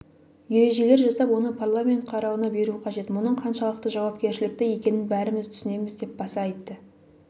ережелер жасап оны парламент қарауына беру қажет мұның қаншалықты жауапкершілікті екенін бәріміз түсінеміз деп баса айтты